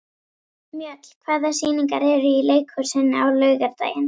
Mjöll, hvaða sýningar eru í leikhúsinu á laugardaginn?